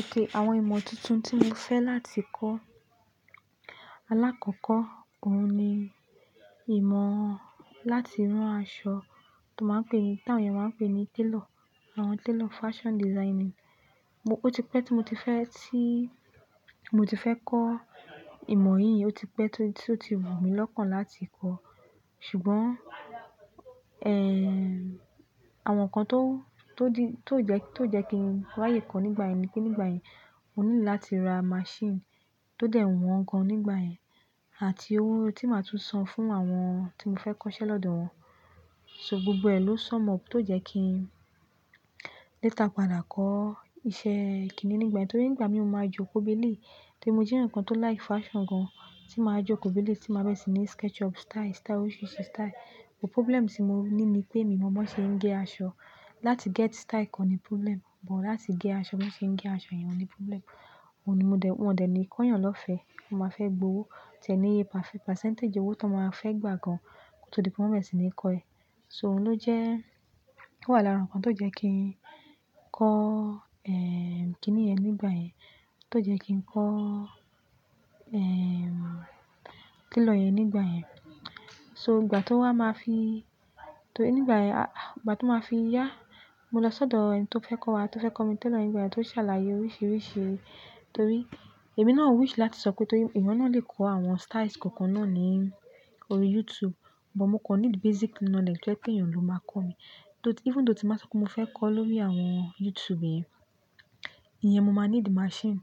Èké àwọn ìmọ̀ tuntun tí mo fẹ́ láti kọ́, alákọ̀kọ́ òun ni ìmọ̀ láti rán aṣọ, tó máa ń pè ní, táwọn èèyàn máa ń pè ní tailor, àwọn tailor fashion designing. Mo-- Ó ti pẹ́ tí mo ti fẹ́ tí, mo ti fẹ́ kọ́ ìmọ̀ yìí, ó ti pẹ́ tó, tó ti wù mí lọ́kàn láti kọ́. Ṣùgbọ́n, eh, àwọn nǹkan tó, tó di, tó jẹ́ kí n wáyé kọ́ nígbà yẹn ni pé nígbà yẹn, ó ní láti ra machine tó dẹ̀ wọ́n gan nígbà yẹn, àti owó tí màá tún san fún àwọn tí mo fẹ́ kọ́ iṣẹ́ lọ́dọ̀ wọn. So gbogbo ẹ̀ ló sọme up tó jẹ́ kí n léta padà kọ́ iṣẹ́ kìíní nígbà yẹn, torí nígbà mi ò máa jókòó béle. Torí mo jẹ́ ǹkan tó like fashion gan, tí màá jókòó béle, tí màá bẹ̀rẹ̀ sí ní sketch up style, style oríṣiríṣi style. But problem tí mo ní ni pé, mi mọ̀ ọ́n ṣe ń gẹ́ aṣọ. Láti get style kọ́ ni problem, but láti gẹ́ aṣọ, bí wọ́n ṣe ń gẹ́ aṣọ yẹn ni problem. Ohun ni mo dẹ̀, wọn dẹ̀ ní kóyàn lọ́fẹ̀ẹ́. Wọ́n máa fẹ́ gbowó, tẹ̀ni iye pa-- percentage owó tó máa fẹ́ gbà gan kí n tó di pé wọ́n bẹ̀rẹ̀ sí ní kọ ẹ. So òun ló jẹ́, ó wà lára nǹkan tó jẹ́ kí n kọ́, eh, kìíní yẹn nígbà yẹn, tó jẹ́ kí n kọ́, eh, tailor yẹn nígbà yẹn. So ìgbà tó wá, màá fi, torí nígbà yẹn, à, ìgbà tí màá fi yá, mo lọ sọ́dọ̀ ẹni tí ó fẹ́ kọ́ wa, tó fẹ́ kọ́ mi tailor yẹn nígbà yẹn, tó ṣàlàyé oríṣiríṣi. Torí èmi náà wish láti sọ pé, torí èèyàn náà lè kọ́ àwọn styles kọ̀ọ̀kan náà ní orí YouTube. But mo kọ́ n need basic knowledge pé èèyàn ló máa kọ́ mi. Even though tí màá sọ pé mo fẹ́ kọ́ lórí àwọn YouTube yẹn, ìyẹn mo máa need machine.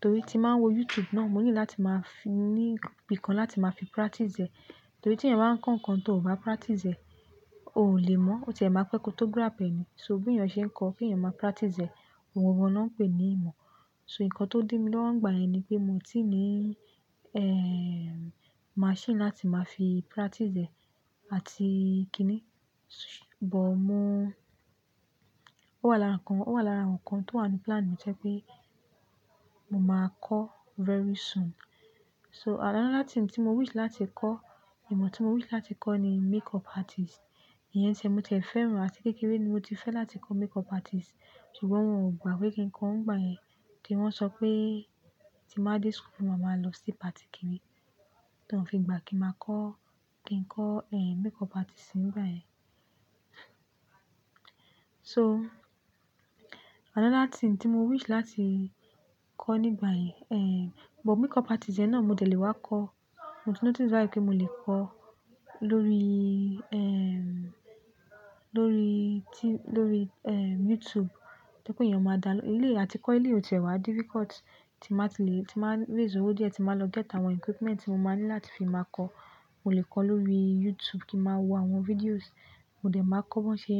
Torí tí màá wo YouTube náà, mo ní láti máa fún ní bi kan láti máa fi practice ẹ̀. Torí tí ẹ̀ máa ń kọ́ nǹkan tí ò bá practice ẹ̀, o ò lè mọ̀. Òótọ́ ẹ máa pẹ́ kó tó grab ẹ ni. So bí èèyàn ṣe ń kọ́, kí ẹ̀yàn máa practice ẹ̀, òun gbogbo náà pé ní ìmọ̀. So nǹkan tó dí mi lọ́wọ́ nígbà yẹn ni pé mo ti ní, eh, machine láti máa fi practice ẹ̀ àti kíni. But mo, ó wà lára nǹkan, ó wà lára àwọn nǹkan tó wà ní plan mi jẹ́ pé mo máa kọ́ very soon. So another thing tí mo wish láti kọ́, ìmọ̀ tí mo wish láti kọ́ ni makeup artist. Ìyẹn tiẹ́ mo tẹ̀fẹ́ ràn, àti kékeré ni mo ti fẹ́ láti kọ́ makeup artist. Ṣùgbọ́n wọn ò gbà pé kí n kọ́ ọ́n nígbà yẹn. Kí wọ́n sọ pé tí màá dé school wá màá lọ sí party kiri. Tán fi ìgbà kí màá kọ́, kí n kọ́, eh, makeup artist nígbà yẹn. So another thing tí mo wish láti kọ́ nígbà yẹn, eh, but makeup artist yẹn náà mo dẹ̀ lè wá kọ́. Mo ti notice láìpẹ́ pé mo lè kọ́ lórí, eh, lórí ti-- lórí, eh, YouTube. Tẹ́ pé èèyàn máa dá ló-- elé àti kọ́ eléyí ò tiẹ́wá difficult tí màá ti lè, tí màá réz ówo díẹ̀, tí màá lọ get àwọn equipment tí mo máa ní láti fi máa kọ́. Mo lè kọ́ lórí YouTube kí màá wo àwọn videos, mo dẹ̀ máa kọ́ bí wọ́n ṣe,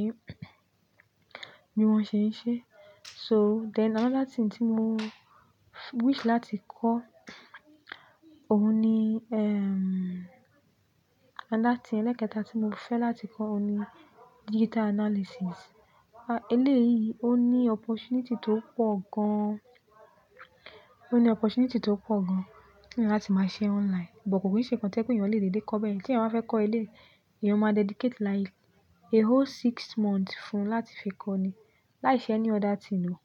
bí wọ́n ṣe ń ṣe. So then another thing tí mo wish láti kọ́, òun ni, ehm, another thing ẹlẹ́kẹta tí mo fẹ́ láti kọ́ òun ni digital analysis. Eléyìí, ó ní opportunity tó pọ̀ gan. Ó ní opportunity tó pọ̀ gan láti máa ṣe online. But kò kì í ṣe nǹkan tí ẹ́ pé èèyàn lè lèdé kọ́ bẹ́ẹ̀. Tí èèyàn bá fẹ́ kọ́ elé, èèyàn máa dedicate like a whole six months fún un láti fi kọ́ ni. Láìṣe ẹni other thing o.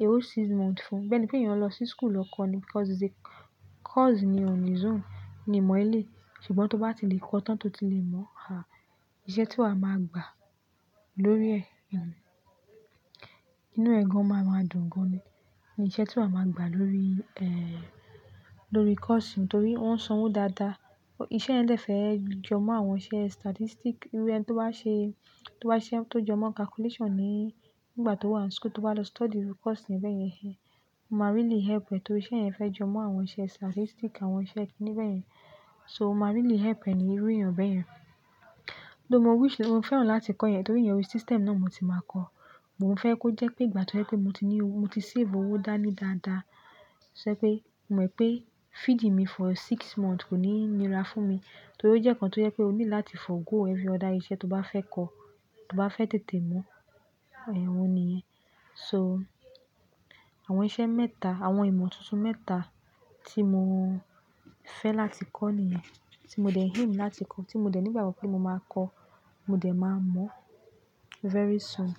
A whole six months fún un. Bẹ́ẹ̀ ni pé èèyàn lọ sí school lọ kọ́ ni because it's a course ni on its own. Ni ìmọ̀ ilé. Ṣùgbọ́n tó bá ti lè kọ́ tán, tó ti lè mọ̀, ah, iṣẹ́ tí wa máa gba lórí ẹ̀, inú ẹ̀ gan máa dùn gan ni. Ni iṣẹ́ tí a máa gba lórí, eh, lórí course yìí torí wóń sanwó dáadáa. Iṣẹ́ ẹ̀ lè fẹ́ jọmọ́ àwọn iṣẹ́ statistic. Irú ẹni tó bá ṣe, tó bá ṣe, tó jọmọ́ calculation ni nígbà tó wà ní school, tó bá lọ study irú course yẹn bèyén he, máa really help ẹ torí iṣẹ́ yẹn fẹ́ jọmọ́ àwọn iṣẹ́ statistic, àwọn iṣẹ́ kíní bẹ́ẹ̀ yẹn. So máa really help ẹ ní irú èèyàn bẹ́ẹ̀ yẹn. Mo wish, mo fẹ́ràn láti kọ́ yẹ̀n torí ìyẹn orí system náà mo ti máa kọ́. But mo fẹ́ kó jẹ́ pé ìgbà tó jẹ́ pé mo ti ní owó, mo ti save owó dání dáadáa. Sọ pé mò ń mọ̀ pé feeding me for six months kò ní nira fún mi. Torí ó jẹ́ nǹkan tó jẹ́ pé ó ní láti forego every other iṣẹ́ tó bá fẹ́ kọ́, tó bá fẹ́ tètè mọ̀. Ẹ̀hún ni. So àwọn iṣẹ́ mẹ́ta, àwọn ìmọ̀ tuntun mẹ́ta tí mo fẹ́ láti kọ́ nìyẹn. Tí mo dẹ̀ hymn láti kọ́, tí mo dẹ̀ ní ìgbàgbo pé mo máa kọ́, mo dẹ̀ máa mọ̀ very soon.